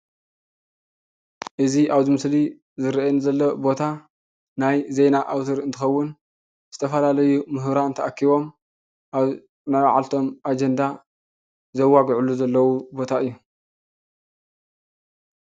እዚ አብዚ ምስሊ ዝረእየኒ ዘሎ ቦታ ናይ ዜና አውታር እንትከውን ዝተፈላለዩ ሙሁራት ተአኪቦም አብ ናይ በዓልቶም አጀንዳ ዘዋጉዕሉ ዘለው ቦታ እዩ፡፡